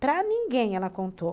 Para ninguém ela contou.